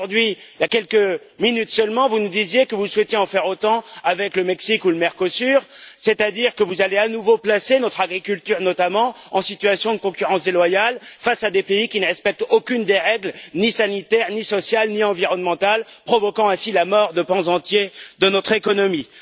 Aujourd'hui, il y a quelques minutes seulement, vous nous disiez que vous souhaitiez en faire autant avec le Mexique ou le Mercosur, c'est à dire que vous allez à nouveau placer notre agriculture, notamment, en situation de concurrence déloyale face à des pays qui ne respectent aucune des règles, ni sanitaires, ni sociales, ni environnementales, provoquant ainsi la mort de pans entiers de notre économie.